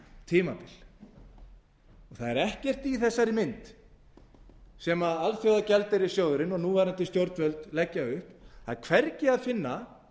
tímabil það er ekkert í þessari mynd sem alþjóðagjaldeyrissjóðurinn og núverandi stjórnvöld leggja upp það er hvergi að finna